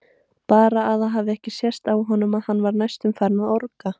Bara að það hafi ekki sést á honum að hann var næstum farinn að orga!